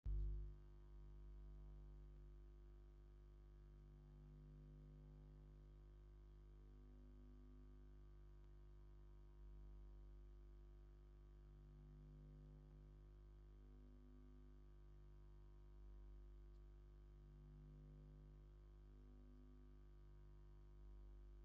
ስፕሪስ ኣብ ኢትዮጵያ ብሰፊሑ ዝርከብ ብዙሕ ንጣር ዘለዎ ጽማቝ ፍረታት እዩ። እዚ መስተ ከምቲ ስሙ ዝሕብሮ ጽማቝ ጥራይ ዘይኮነስ ከም ስሙቲ ረጒድ እዩ። ነዚ ጥዑምን መስተ ንምስራሕ እንታይ ዓይነት ፍረታት ከም ዝጥቀሙ ዝያዳ ክትፈልጡ ዶ ትደልዩ?